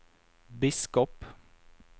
biskop